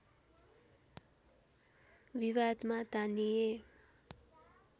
विवादमा तानिए